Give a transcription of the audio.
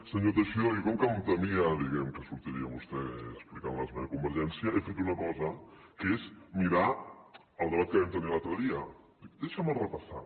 senyor teixidó jo com que em temia diguem ne que sortiria vostè explicant l’esmena de convergència he fet una cosa que és mirar el debat que vam tenir l’altre dia dic deixa me’l repassar